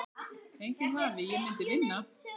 Enginn vafi, ég myndi vinna